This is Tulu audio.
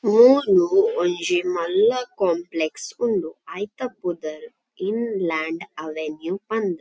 ಮೂಲು ಒಂಜಿ ಮಲ್ಲ ಕಾಂಪ್ಲೆಕ್ಸ್ ಉಂಡು ಐತ ಪುದರ್ ಇನ್ ಲ್ಯಾಂಡ್ ಅವೆನ್ಯೂ ಪಂದ್.